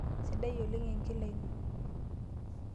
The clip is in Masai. Sidai oleng enkila ino.